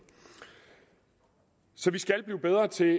så vi skal blive bedre til